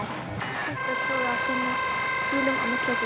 Grískar styttur stóðu á súlum á milli glugga.